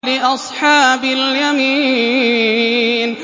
لِّأَصْحَابِ الْيَمِينِ